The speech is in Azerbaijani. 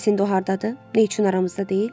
Bəs indi o hardadır, nə üçün aramızda deyil?